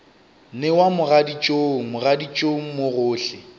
newa mogaditšong mogaditšong mo gohle